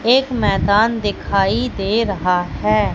एक मैदान दिखाई दे रहा है।